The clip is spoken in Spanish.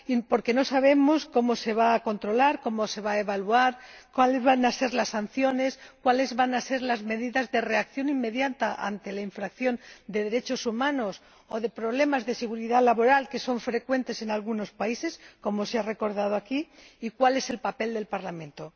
Porque no sabemos cómo se va a controlar, cómo se va a evaluar, cuáles van a ser las sanciones, cuáles van a ser las medidas de reacción inmediata ante la violación de los derechos humanos o problemas de seguridad laboral, que son frecuentes en algunos países ―como se ha recordado aquí―, ni cuál es el papel del Parlamento.